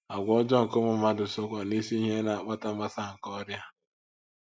Àgwà ọjọọ nke ụmụ mmadụ sokwa n’isi ihe na - akpata mgbasa nke ọrịa.